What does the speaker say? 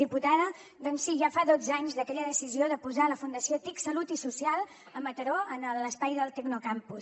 diputada doncs sí ja fa dotze anys d’aquella decisió de posar la fundació tic salut social a mataró en l’espai del tecnocampus